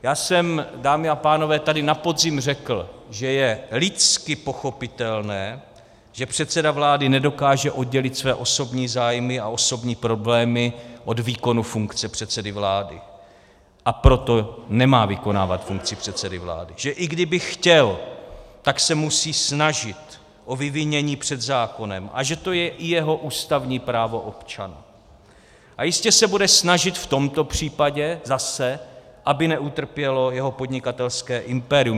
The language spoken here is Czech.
Já jsem, dámy a pánové, tady na podzim řekl, že je lidsky pochopitelné, že předseda vlády nedokáže oddělit své osobní zájmy a osobní problémy od výkonu funkce předsedy vlády, a proto nemá vykonávat funkci předsedy vlády, že i kdyby chtěl, tak se musí snažit o vyvinění před zákonem, a že to je i jeho ústavní právo občana, a jistě se bude snažit v tomto případě zase, aby neutrpělo jeho podnikatelské impérium.